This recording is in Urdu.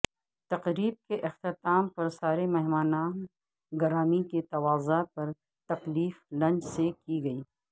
تقریب کے اختتام پر سارے مہمانان گرامی کی تواضع پر تکلف لنچ سے کی گئی